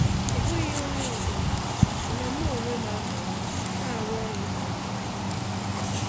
Ọ bụghị onye ọ bụla, mana mụ onwe m anọwo na-arụ ọrụ na ngere.